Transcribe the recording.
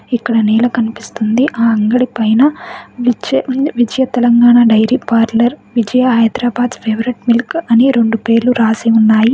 ఇక్కడ నేల కనిపిస్తుంది. ఆ అంగడి పైన Vijay Telangana dairy parlour Vijaya Hyderabad's favourite milk అని రెండు పేర్లు రాసి ఉన్నాయి.